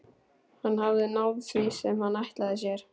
Hann hafði náð því sem hann ætlaði sér.